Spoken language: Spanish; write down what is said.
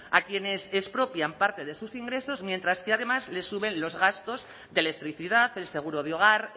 a quienes expropian parte de sus ingresos mientras que además les suben los gastos de electricidad el seguro de hogar